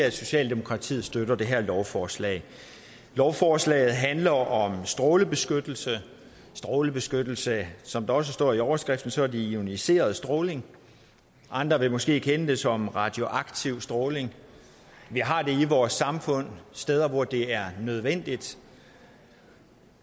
at socialdemokratiet støtter det her lovforslag lovforslaget handler om strålebeskyttelse strålebeskyttelse som der også står i overskriften er det ioniserende stråling andre vil måske kende det som radioaktiv stråling vi har det i vores samfund steder hvor det er nødvendigt